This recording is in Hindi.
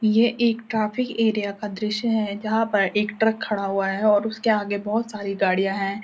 ये एक ट्राफिक एरिया का दृश्य है जहां पर एक ट्रक खड़ा हुआ है और उसके आगे बहौत सारी गाड़ियां हैं।